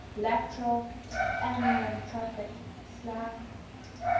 laterale amyotrophique sla